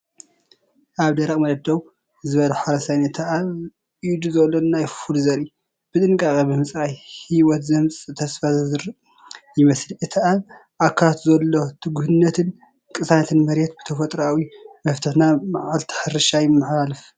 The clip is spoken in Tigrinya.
ኣብ ደረቕ መሬት ደው ዝበለ ሓረስታይ ነቲ ኣብ ኢዱ ዘሎ ናይ ፉል ዘርኢ ብጥንቃቐ ብምጽራይ ህይወት ዘምጽእ ተስፋ ዝዘርእ ይመስል። እቲ ኣብ ኣካላቱ ዘሎ ትጉህነትን ቅሳነት መሬትን ብተፈጥሮኣዊ መፍትሕ ናብ መዓልቲ ሕርሻ ይመሓላለፍ።"